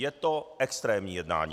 Je to extrémní jednání.